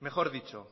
mejor dicho